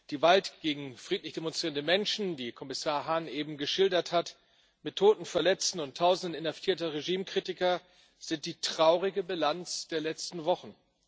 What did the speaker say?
Gewalt gegen friedlich demonstrierende Menschen, wie Kommissar Hahn eben geschildert hat, mit Toten, Verletzten und Tausenden inhaftierter Regimekritiker ist die traurige Bilanz der letzten Wochen.